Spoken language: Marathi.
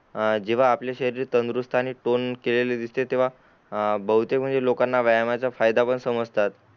हान जेव्हा आपल्या शरीर तंदुरुस्त आणि तोंड केलेले दिसते तेव्हा बहुतेक म्हणजे लोकांना व्यायामाचा फायदा पण समजतात